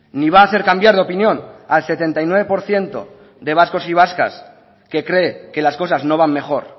ni va a hacer cambiar de opinión al setenta y nueve por ciento de vascos y vascas que cree que las cosas no van mejor